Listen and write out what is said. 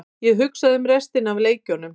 Ég hugsaði um restina af leikjunum.